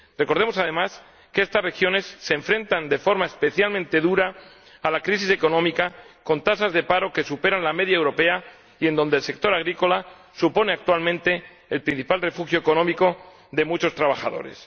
Recordemos, además, que estas regiones se enfrentan de forma especialmente dura a la crisis económica, con tasas de paro que superan la media europea y con un sector agrícola que supone actualmente el principal refugio económico de muchos trabajadores.